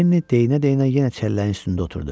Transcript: Lenni deyə-deyə yenə çəlləyin üstündə oturdu.